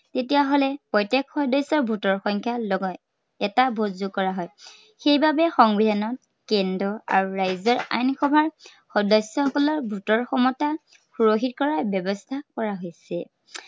তেতিয়া হলে প্ৰত্য়েক সদস্য়ৰ vote ৰ সংখ্যা এটা vote যোগ কৰা হয়। সেই বাবে সংবিধানত কেন্দ্ৰ আৰু ৰাজ্য়ৰ আইন সভা সদস্য়সকলৰ vote ৰ ক্ষমতা সুৰক্ষিত কৰাৰ ব্য়ৱস্থা কৰা হৈছে।